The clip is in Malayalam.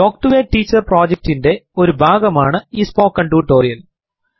talk to a teacher project ൻറെ ഒരു ഭാഗമാണ് ഈ സ്പോക്കെൻ ടുട്ടൊറിയൽ